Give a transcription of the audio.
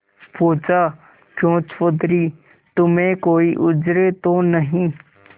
पूछाक्यों चौधरी तुम्हें कोई उज्र तो नहीं